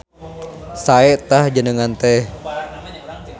Sae tah jenengan teh.